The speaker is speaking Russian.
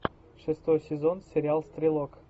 шестой сезон сериал стрелок